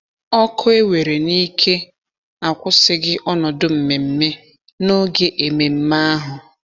Ọkụ ewere n'ike akwụsịghị ọnọdụ mmemme n'oge ememe ahụ.